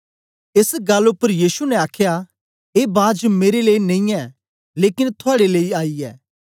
एस गल्ल उपर यीशु ने आखया ऐ बाज मेरे लेई नेई ऐ लेकन थुआड़े लेई आई ऐ